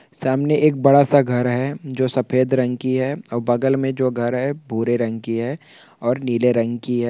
यह एक बड़ा सा घर है जो सफेद रग की है और बगल मे जो घर है भूरे रग की है ओर नीले रग की है .